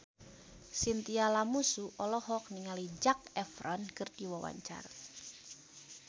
Chintya Lamusu olohok ningali Zac Efron keur diwawancara